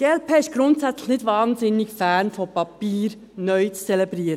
– Die glp ist grundsätzlich nicht wahnsinnig begeistert davon, Papiere neu zu zelebrieren.